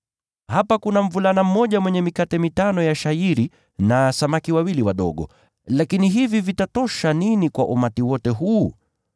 “Hapa kuna mvulana mmoja mwenye mikate mitano ya shayiri na samaki wawili wadogo. Lakini hivi vitatosha nini kwa umati huu wote?”